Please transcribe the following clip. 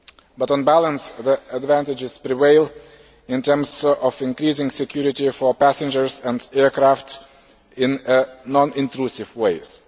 but on balance, the advantages prevail in terms of increasing security for our passengers and aircraft in non intrusive ways.